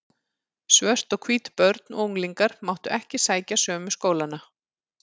Svört og hvít börn og unglingar máttu ekki sækja sömu skólana.